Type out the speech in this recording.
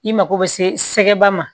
I mako bɛ se ba ma